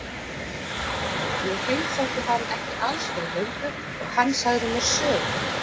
Ég heimsótti hann ekki alls fyrir löngu og hann sagði mér sögu.